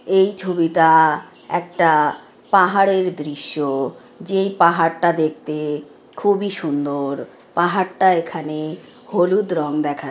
এই ছবিটা একটা পাহাড়ের দৃশ্য যেই পাহাড়টা দেখতে খুবই সুন্দর-পাহাড়টা এখানে- হলুদ রং দেখা--